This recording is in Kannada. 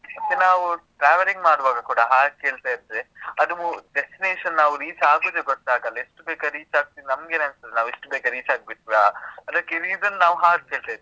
ಮತ್ತೇ ನಾವು, traveling ಮಾಡುವಾಗ ಕೂಡ, ಹಾಡು ಕೇಳ್ತಾ ಇದ್ರೆ, ಅದುವೂ destination ನಾವು reach ಆಗುದೇ ಗೊತ್ತಾಗಲ್ಲ. ಎಷ್ಟು ಬೇಗ reach ಆಗ್ತಿವಿ, ನಮ್ಗೇನೇ ಅನಿಸ್ತದೆ, ನಾವು ಇಷ್ಟು ಬೇಗ reach ಆಗ್ಬಿಟ್ವಾ? ಅದಕ್ಕೆ reason , ನಾವ್ ಹಾಡ್ ಕೇಳ್ತಾ ಇರ್ತೇವೆ.